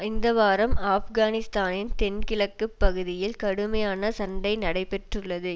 இந்த வாரம் ஆப்கானிஸ்தானின் தென்கிழக்குப் பகுதியில் கடுமையான சண்டை நடைபெற்றுள்ளது